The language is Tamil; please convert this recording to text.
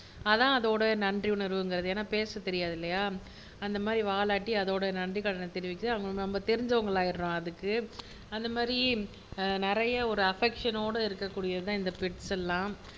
அதான் அதோட நன்றி உணர்வுங்கிறது ஏன்னா பேசத்தெரியாது இல்லையா அந்த மாதிரி வாலாட்டி அதோட நன்றிக்கடனை தெரிவிக்கிது நம்ம தெரிஞ்சவ்ங்கலாயிடுறோம் அதுக்கு அந்த மாறி நிறைய ஒரு அஃபெக்ஷன்னோட இருக்ககூடியது தான் இந்த பெட்ஸ் எல்லாம்